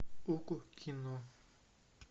окко кино